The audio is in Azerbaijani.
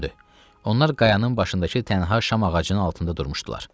Onlar qayanın başındakı tənha şam ağacının altında durmuşdular.